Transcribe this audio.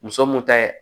Muso mun ta ye